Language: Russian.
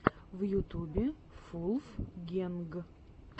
в ютубе вулфгэнг